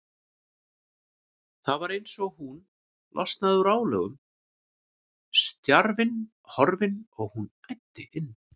Og það var eins og hún losnaði úr álögum, stjarfinn horfinn, og hún æddi inn.